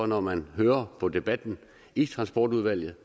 når man hører på debatten i transportudvalget